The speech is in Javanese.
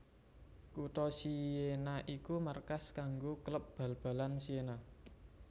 Kutha Siena iku markas kanggo klub bal balan Siena